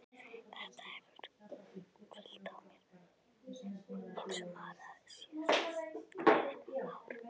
Þetta hefur hvílt á mér eins og mara síðastliðið ár.